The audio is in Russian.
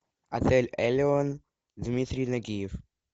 отель элеон дмитрий нагиев